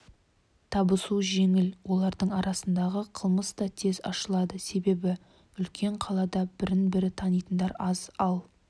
табысу жеңіл олардың арасындағы қылмыс та тез ашылады себебі үлкен қалада бір-бірін танитындар аз ал